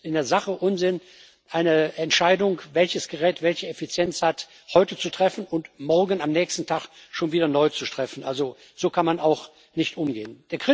Also es ist in der Sache Unsinn, eine Entscheidung, welches Gerät welche Effizienz hat, heute zu treffen und morgen, am nächsten Tag, schon wieder neu zu treffen also so kann man damit nicht umgehen.